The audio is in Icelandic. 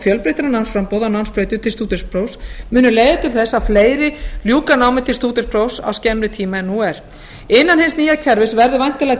fjölbreyttara námsframboð á námsbrautum til stúdentsprófs munu leiða til þess að fleiri ljúka námi til stúdentsprófs á skemmri tíma en nú er innan hins nýja kerfis verður væntanlega til